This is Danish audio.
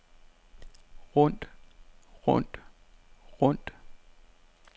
rundt rundt rundt